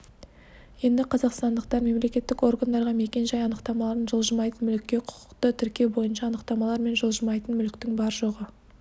енді қазақстандықтар мемлекеттік органдарға мекен-жай анықтамаларын жылжымайтын мүлікке құқықты тіркеу бойынша анықтамалар мен жылжымайтын мүліктің бар-жоғы